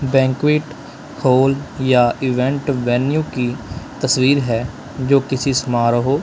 banquet hall या event venue की तस्वीर हैं जो किसी समारोह--